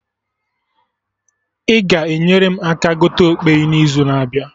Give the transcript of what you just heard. Ị ga enyere m aka gote okpeyi na izu na abịa?